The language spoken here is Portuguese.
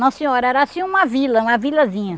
Não senhora, era assim uma vila, uma vilazinha.